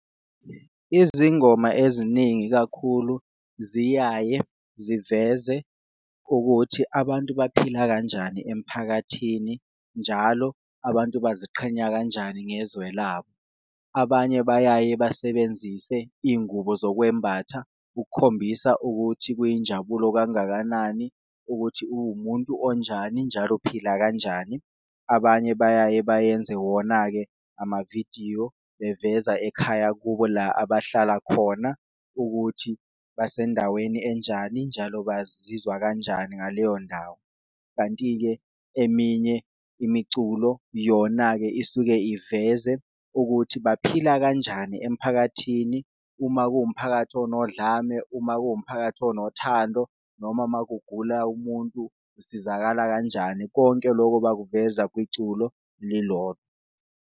Izingoma eziningi ikakhulu ziyaye ziveze ukuthi abantu baphila kanjani emphakathini njalo abantu baziqhenya kanjani ngezwe labo, abanye bayaye basebenzise ingubo zokwembatha ukukhombisa ukuthi kuyinjabulo kangakanani ukuthi uwumuntu onjani njalo uphila kanjani. Abanye bayaye bayenze wona-ke amavidiyo beveza ekhaya kubo, la abahlala khona ukuthi basendaweni enjani, njalo bazizwa kanjani ngaleyo ndawo. Kanti-ke eminye imiculo yona-ke isuke iveze ukuthi baphila kanjani emphakathini, uma kuwumphakathi onodlame, uma kuwumphakathi onothando noma uma kugula umuntu usizakala kanjani, konke loko bakuveza kwiculo lilonke.